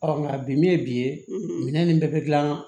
nka bi min ye bi ye minɛn nin bɛɛ bɛ gilan